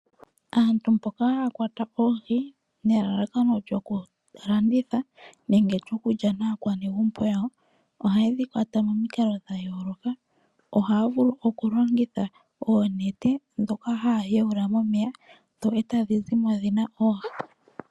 Aantu mboka haya kwata oohi nelalakano lyoku landitha nenge lyoku lya naakwanegumbo yawo, ohaye dhi kwata momikalo dha yooloka. Ohaya vulu oku longitha oonete, ndhoka haya yuula momeya e tadhi zimo dhina oohi.